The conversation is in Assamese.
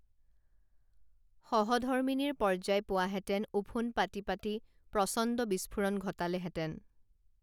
সহধৰ্মিনীৰ পৰ্যায় পোৱাহেঁতেন ওফোন্দ পাতি পাতি প্ৰচণ্ড বিস্ফোৰণ ঘটালেহেঁতেন